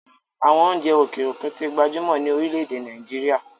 àwọn oúnjẹ òkè òkun tí ń gbajúmọ̀ ní orílẹ-èdè nàìjíría